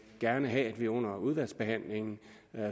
gerne have at vi under udvalgsbehandlingen